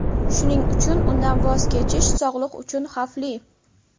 Shuning uchun undan voz kechish sog‘liq uchun xavfli.